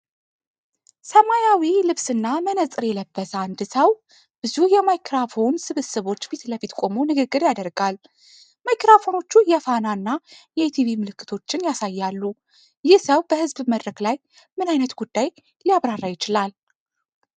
ሰማያዊ ልብስና መነጽር የለበሰ አንድ ሰው ብዙ የማይክሮፎን ስብስቦች ፊት ለፊት ቆሞ ንግግር ያደርጋል። ማይክሮፎኖቹ የፋና እና ኢቲቪ ምልክቶችን ያሳያሉ። ይህ ሰው በሕዝብ መድረክ ላይ ምን ዓይነት ጉዳይ ሊያብራራ ይችላል?